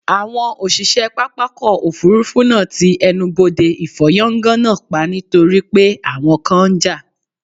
Àwọn òṣìṣẹ́ pápákọ̀ òfuurufú náà ti ẹnubodè ìfọ́yángá náà pa nítorí pé àwọn kan ń jà